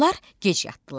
Onlar gec yatdılar.